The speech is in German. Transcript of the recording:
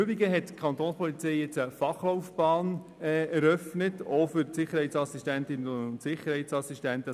Des Weiteren eröffnete die Kapo auch für die Sicherheitsassistentinnen und Sicherheitsassistenten eine Fachlaufbahn.